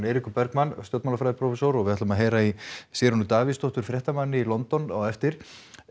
Eiríkur Bergmann stjórnmálafræðiprófessor og við ætlum að heyra í Sigrúnu Davíðsdóttur fréttamanni í London á eftir